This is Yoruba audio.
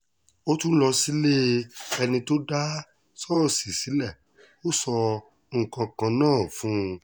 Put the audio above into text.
ó tún lọ sílée ẹni tó dá ṣọ́ọ̀ṣì sílẹ̀ ó sọ nǹkan kan náà fún un